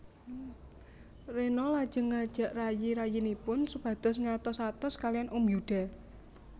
Rena lajeng ngajak rayi rayinipun supados ngatos atos kaliyan Om Yuda